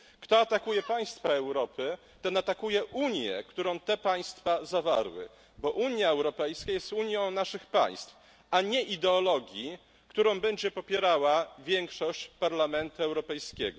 Kto atakuje państwa Europy, ten atakuje Unię, którą te państwa zawarły, bo Unia Europejska jest unią naszych państw, a nie ideologii, którą będzie popierała większość Parlamentu Europejskiego.